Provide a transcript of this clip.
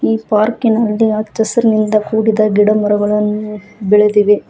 ಈ ಪಾರ್ಕಿನಲ್ಲಿ ಹಚ್ಚ ಹಸಿರಿನಿಂದ ಕೂಡಿದ ಗಿಡಮರಗಳನ್ನು ಬೆಳೆದಿವೆ.